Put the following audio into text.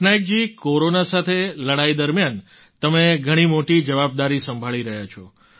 પટનાયકજી corona સાથે લડાઈ દરમિયાન તમે ઘણી મોટી જવાબદારી સંભાળી રહ્યા છો